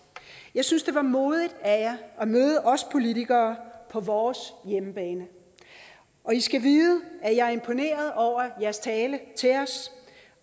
jeg synes det var modigt af jer at møde os politikere på vores hjemmebane og i skal vide at jeg er imponeret over jeres tale til os